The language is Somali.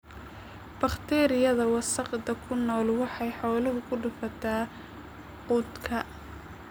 Bakteeriyada wasakhda ku nool waxay xoolaha ku dhufataa quudka.